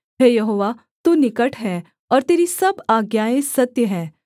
हे Jehovah तू निकट है और तेरी सब आज्ञाएँ सत्य हैं